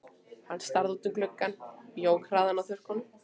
Hann starði út um gluggann, jók hraðann á þurrkunum.